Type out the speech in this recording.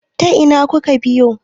ta Ina suka biyo!